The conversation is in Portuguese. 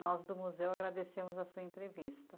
Nós do museu agradecemos a sua entrevista.